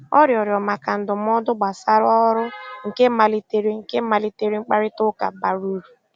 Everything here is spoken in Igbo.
Ọ rịọ̀rọ̀ maka ndụ́mọ̀dụ́ gbàsàrà ọ́rụ́, nkè malìterè nkè malìterè mkpáịrịtà ụ́ka bàrà úrù.